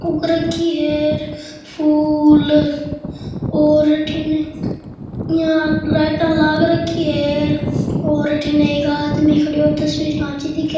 उग रखी है फूल और अठीने यहाँ लाइटा लाग रखी है और अठीने एक आदमी खड़ियो तस्वीर खाँची दिखे।